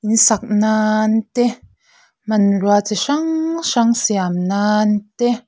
in sak nann te hmanrua chi hrang hrang siam nan te.